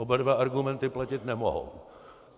Oba dva argumenty platit nemohou.